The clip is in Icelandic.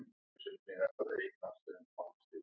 Oddþór, spilaðu lag.